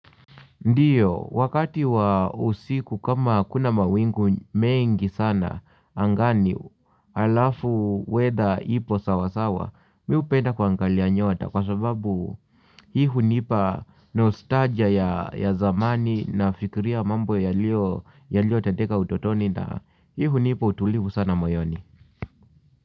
Ndiyo, wakati wa usiku kama hakuna mawingu mengi sana, angani halafu weather ipo sawasawa, mi hupenda kuangalia nyota kwa sababu hii hunipa nostalgia ya zamani nafikiria mambo yaliyotendeka utotoni na hii hunipa utulivu sana moyoni.